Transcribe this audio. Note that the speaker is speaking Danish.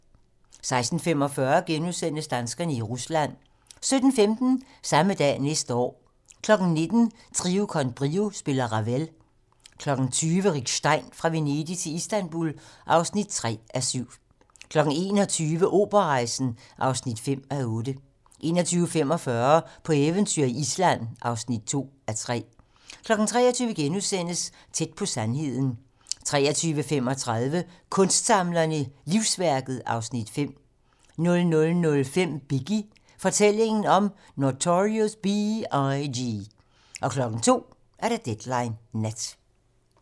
16:45: Danskerne i Rusland * 17:15: Samme dag næste år 19:00: Trio con Brio spiller Ravel 20:00: Rick Stein: Fra Venedig til Istanbul (3:7) 21:00: Operarejsen (5:8) 21:45: På eventyr i Island (2:3) 23:00: Tæt på sandheden * 23:35: Kunstsamlerne: Livsværket (Afs. 5) 00:05: Biggie: Fortællingen om Notorious B.I.G. 02:00: Deadline nat